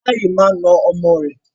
Ìyá yìí máa na ọmọ rẹ̀.